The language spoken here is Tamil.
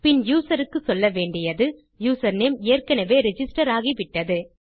பின் யூசர் க்கு சொல்ல வேண்டியது யூசர்நேம் ஏற்கெனெவே ரிஜிஸ்டர் ஆகிவிட்டது